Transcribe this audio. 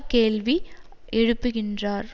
கேள்வி எழுப்புகின்றார்